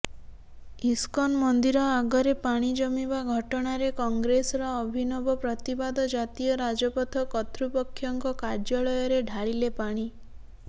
ISKCON ମନ୍ଦିର ଆଗରେ ପାଣି ଜମିବା ଘଟଣାରେ କଂଗ୍ରେସର ଅଭିନବ ପ୍ରତିବାଦ ଜାତୀୟ ରାଜପଥ କର୍ତ୍ତୃପକ୍ଷଙ୍କ କାର୍ଯ୍ୟାଳୟରେ ଢାଳିଲେ ପାଣି